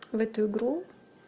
в эту игру